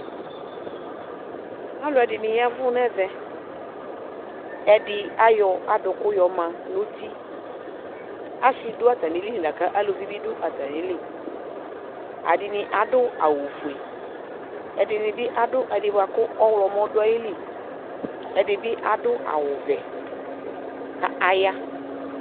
aloɛdini yavu n'ɛvɛ ɛdi ayɔ adòku yɔma nuti ase do atamili ɛdini ado awu fue ɛdini bi ado ɛdi boa kò ɔwlɔmɔ do ayili ɛdi bi ado awu vɛ k'aya